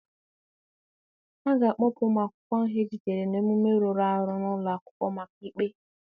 A ga-akpụpụ ụmụ akwụkwọ ahụ ejidere n'omume rụrụ arụ n'ụlọ akwụkwọ maka ikpe.